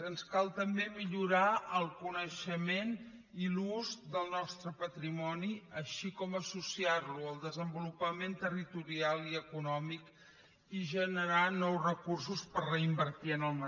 ens cal també millorar el coneixement i l’ús del nostre patrimoni així com associar lo al desenvolupament territorial i econòmic i generar nous recursos per reinvertir hi